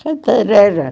Cantareira.